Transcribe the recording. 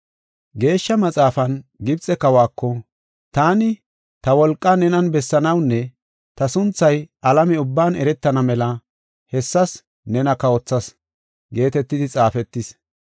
Geeshsha Maxaafan, Gibxe kawako, “Taani, ta wolqaa nenan bessanawunne ta sunthay alame ubban eretana mela hessas nena kawothas” geetetidi xaafetis.